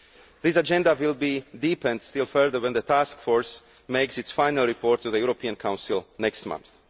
This agenda will be deepened still further when the Task Force makes its final report to the European Council next month.